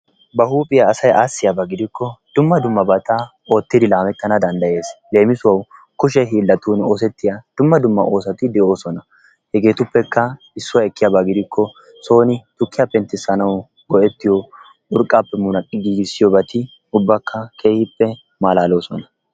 ba huuphiya asay aassiyaaba gidikko dumma dummabata oottidi laamettana danddayees. leemisuwaw kushee hiilatun oosetiya dumma dumma oosoti de'oosona. hegeetuppekka issuwa ekkiyaaba gidikko soon tukkiya penttissanaw go''ettiyo urqqaappe munaqqi giigissiyoobati ubbakka keehippe malaaloosona.